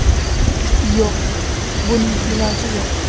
Yo‘q, buning iloji yo‘q.